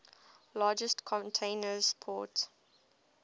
largest container port